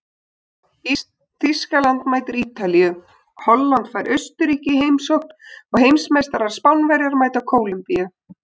Þýskaland mætir Ítalíu, Holland fær Austurríki í heimsókn og heimsmeistarar Spánverjar mæta Kólumbíu.